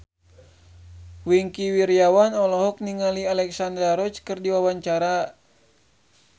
Wingky Wiryawan olohok ningali Alexandra Roach keur diwawancara